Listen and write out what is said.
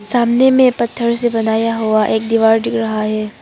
सामने में पत्थर से बनाया हुआ एक दीवार दिख रहा है।